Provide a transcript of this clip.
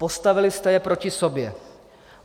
Postavili jste je proti sobě.